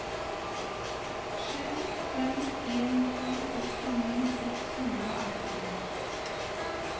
sju fem en to sekstini seks hundre og atten